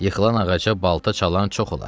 Yıxılan ağaca balta çalan çox olar.